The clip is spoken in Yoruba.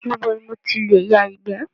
Níbo ni mo tilè yà ìgbẹ́?